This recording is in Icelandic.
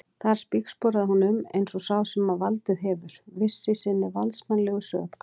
Þar spígsporaði hún um eins og sá sem valdið hefur, viss í sinni valdsmannslegu sök.